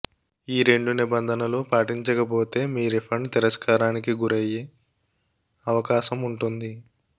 ఈ రెండు నిబంధనలు పాటించకపోతే మీ రీఫండ్ తిరస్కారానికి గురయ్యే అవకాశం ఉంటుంది